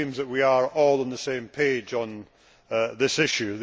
It seems that we are all on the same page on this issue.